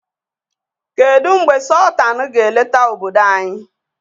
Kedu mgbe Sọltanụ ga-eleta obodo anyị?